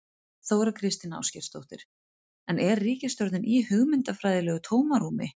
Þóra Kristín Ásgeirsdóttir: En er ríkisstjórnin í hugmyndafræðilegu tómarúmi?